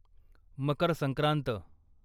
Makar Sankrant